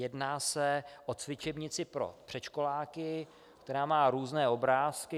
Jedná se o cvičebnici pro předškoláky, která má různé obrázky.